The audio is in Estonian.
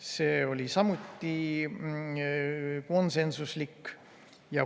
See oli samuti konsensuslik otsus.